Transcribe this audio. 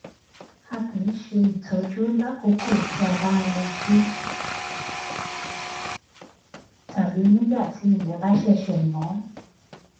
a kì í ṣe ìtọjú lákòókò tí a bá ń rẹjú tàbí nígbà tí ilè bá ṣẹṣẹ mó